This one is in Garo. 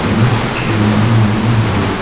chokkirangba uano donga.